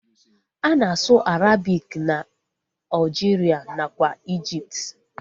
Ana asụ Arabik na Aljiria nakwa ijipt